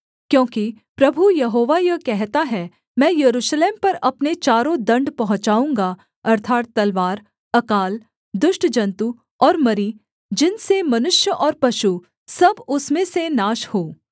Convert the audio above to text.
क्योंकि प्रभु यहोवा यह कहता है मैं यरूशलेम पर अपने चारों दण्ड पहुँचाऊँगा अर्थात् तलवार अकाल दुष्ट जन्तु और मरी जिनसे मनुष्य और पशु सब उसमें से नाश हों